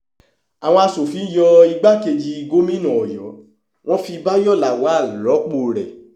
àwọn aṣòfin yọ igbákejì gómìnà ọyọ wọn fi bayọ lawal rọ́pò rẹ̀